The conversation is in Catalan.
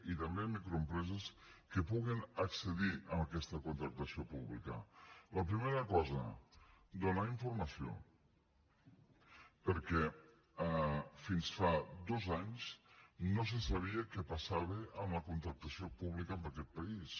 i també microempreses que puguen accedir a aquesta contractació pública la primera cosa donar informació perquè fins fa dos anys no se sabia què passava amb la contractació pública en aquest país